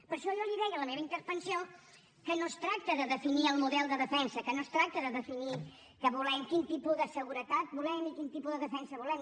per això jo li deia a la meva intervenció que no es tracta de definir el model de defensa que no es tracta de definir què volem quin tipus de seguretat volem i quin tipus de defensa volem